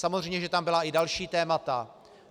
Samozřejmě že tam byla i další témata.